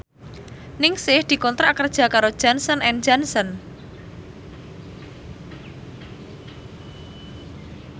Ningsih dikontrak kerja karo Johnson and Johnson